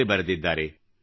in ನಲ್ಲಿ ಬರೆದಿದ್ದಾರೆ